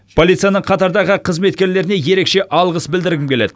полицияның қатардағы қызметкерлеріне ерекше алғыс білдіргім келеді